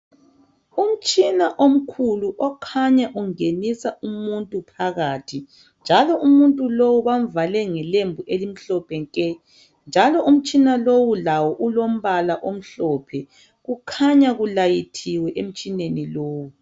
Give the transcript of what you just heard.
Umtshina omkhulu okhanya ungenisa umuntu phakathi .Njalo umuntu lowu bamvale ngelembu elimhlophe nke .Njalo umtshina lowu lawo ulombala omhlophe. Kukhanya kulayithiwe emtshineni lowu .